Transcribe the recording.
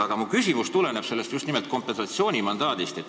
Aga mu küsimus tuleneb just nimelt kompensatsioonimandaadist.